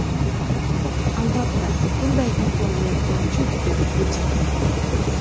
Albatta, bunday imkoniyat mavjud”, dedi Putin.